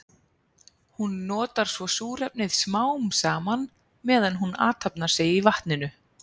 Hún notar svo súrefnið smám saman meðan hún athafnar sig í vatninu.